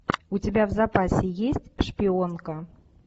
у тебя в запасе есть шпионка